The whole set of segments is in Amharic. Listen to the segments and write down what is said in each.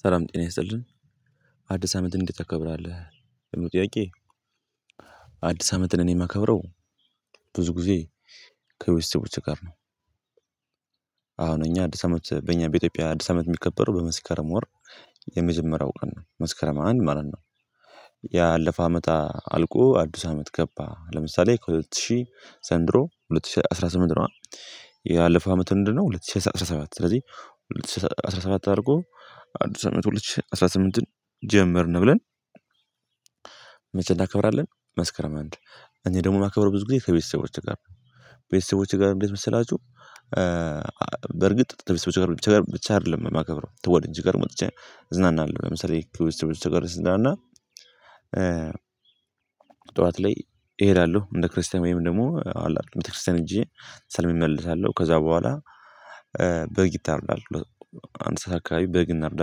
ሰላም ጤና ይስጥልን። አዲስ አመትን እንዴት ታከብራለህ? ለሚለው ጥያቄ አዲስ አመትን እኔ የማከብረው ብዙ ጊዜ ከቤተሰቦቼ ጋር ነው። አሁን እኛ፤ አዲስ አመት፤ በእኛ በኢትዮጵያ አዲስ አመት የሚከበረው በመስከረም ወር የመጀመሪያው ቀን ነው። መስከረም አንድ ማለት ነው። ያለፈ አመታት አልቆ አዲስ አመት ገባ ለምሳሌ ከሁለት ሺህ ዘንድሮ ሁለት ሺህ አስራ ስምንት ነው ያለፈው አመት እንደነው ሁለት ሺህ አስራ ሰባት ስለዚህ ሁለት ሺህ አስራ ሰባት አድርቆ አንድ ሺህ ሰባት ሁለት ሺህ አስራ ስምንት ጀመርን ብለን መቼ እናከብራለን መስከረም አንድ እኔ ደግሞ ማከብረው ብዙ ጊዜ ከቤተሰቦቼ ጋር ነው ቤተሰቦቼ ጋር እንዴት መሰላችሁ በርግጥ ከቤተሰቦቼ ጋር ብቻ ጋር ብቻ አይደለም የማከብረው ከወዳጆቼ ጋር ወጥቼ እዝናናለሁ ለምሳሌ ከቤተስቦቼ ጋር ስዝናና ያለፈ አመት አልቆ አዲስ አመት ገባ ለምሳሌ:- ከሁለት ሺህ ዘንድሮ ሁለት ሺህ አስራ ስምንት ነው፤ ያለፈው አመት ምንድነው ሁለት ሺህ አስራ ሰባት፤ ስለዚህ ሁለት ሺህ አስራ ሰባት አርጎ አዲስ አመት ሁለት ሺህ አስራ ስምንት ጀመርን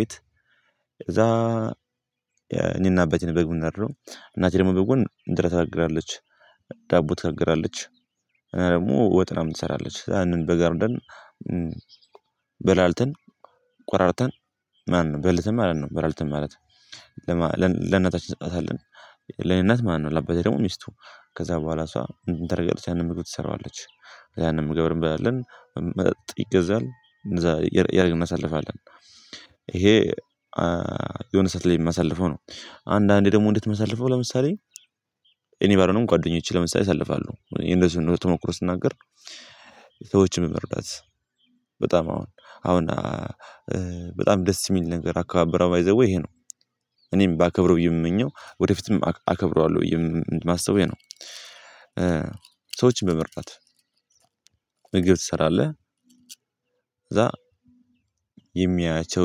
ብለን እኔና አባቴን ነን በግ የምናርደው እናቴ ደግሞ በጎን እንጀራ ትጋግራለች ዳቦ ትታገራለች እና ደግሞ ወጥ ምናምን ትሰራለች ያንን በግ አርደን በላልተን ቆራርጠን ማን ነው በልተን ማለት ነው በላልተን ማለት ለእናታችን እንሰጥታለን ለእኔ እናት ማነው ለአባቴ ደግሞ ሚስቱ ከዛ በኋላ እሷ እንትን ታደርጋለች ያንን ምግብ ትሰራዋለች ያንን ምግብ እንበላለን መጠጥ ይገዛል እንዛ ያደርግ እናሳልፋለን የሆነ ሰዓት ላይ የሚመሳልፈው ነው አንዳንዴ ደግሞ እንድትመሳልፈው ለምሳሌ እኔ ባለው ጓደኞቼ ለምሳሌ ያሳልፋለሁ የነሱን ተመክሮ ስናገር ሰዎችን መመርዳት በጣም አሁን አሁን በጣም ደስ የሚል ነገር አካባበረ ባይ ዘ ዌይ ይሄ ነው እኔም ባከብረው ብዬ የምመኘው ወደፊትም አከብረዋለሁ ብዬ የማስበው ይሄ ነው ሰዎችን በመርዳት ምግብ ትሰራለህ ከዛ የሚያያቸው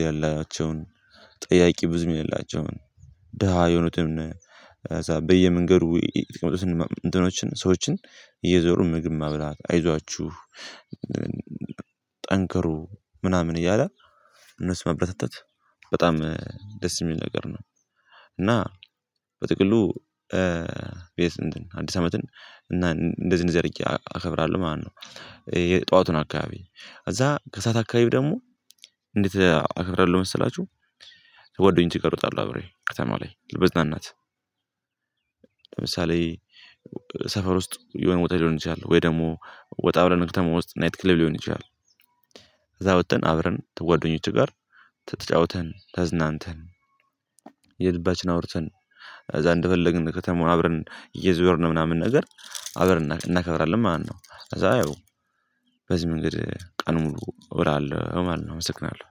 የሌላቸውን ጠያቂ ብዙም የሌላቸውን ደሃ የሆኑትን እዛ በየመንገዱ የተቀመጡ እንትኖችን ሰዎችን እየዞሩ ምግብ ማብላት አይዟችሁ ጠንከሩ ምናምን እያለ እነሱ መበረታታት በጣም ደስ የሚል ነገር ነው እና በጥቅሉ ቤት አዲስ አመትን እና እንደዚህ እንደዚህ አድርጌ አከብራለሁ ማለት ነው የጠዋቱን አካባቢ እዛ ከሰአት አካባቢ ደግሞ እንዴት አከብራለሁ መሰላችሁ ከጓደኞቼ እወጣለሁ አብሬ ከተማ ላይ ለመዝናናት ለምሳሌ ሰፈር ውስጥ የሆነ ቦታ ሊሆን ይችላል ወይ ደግሞ ወጣ ብለን ክተማ ውስጥ ናይት ክሌብ ሊሆን ይችላል እዛ ወጥተን አብረን ከጓደኞቼ ጋር ተጫወተን ተዝናንተን የልባችን አውርተን እዛ እንደፈለግን ከተማ አብረን እየዞርን ምናምን ነገር አብረን እናከብራለን ማነው ከዛ አየው በዚህ መንገድ ቀን ሙሉ እውላለሁ ማነው አመሰግናለሁ